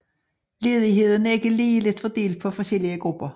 Ledigheden er ikke ligeligt fordelt på forskellige grupper